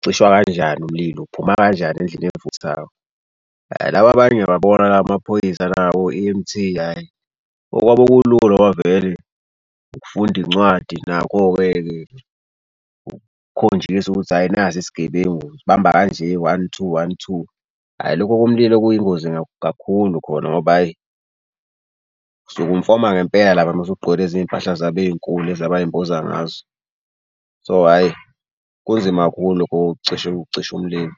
ucishwa kanjani umlilo. Uphuma kanjani endlini evuthayo. Laba abanye ayababona lawo amaphoyisa lawo o-E_M_T hhayi okwabo kulula ngoba vele ukufunda incwadi nakho-ke-ke kukhonjiswa ukuthi hhayi nasi isigebengu usibamba kanje one two one two. Hhayi lokho komlilo kuyingozi kakhulu khona ngoba ayi usuke umfoka ngempela lapha uma usugqoke lezi mpahla zabo ey'nkulu lezi abay'mboza ngazo. So hhayi kunzima kakhulu lokhu ukucisha umlilo.